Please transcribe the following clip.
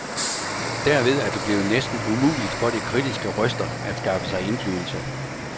Derved er det blevet næsten umuligt for de kritiske røster at skaffe sig indflydelse.